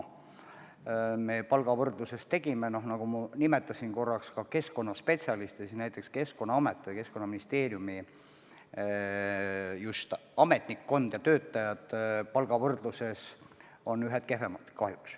Meie tegime palgavõrdluses kindlaks, et ka keskkonnaspetsialistid, näiteks Keskkonnaameti või Keskkonnaministeeriumi ametnikkond ja töötajad, on palgavõrdluses kahjuks ühed kehvemad.